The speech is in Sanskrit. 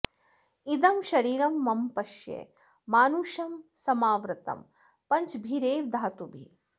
इदं शरीरं मम पश्य मानुषं समावृतं पञ्चभिरेव धातुभिः